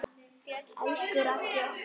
Elsku Raggi okkar.